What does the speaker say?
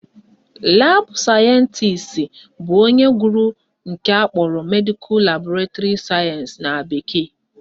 Laabụ sayentisi bụ onye gụrụ nke akpọrọ Medical Laboratory Science na bekee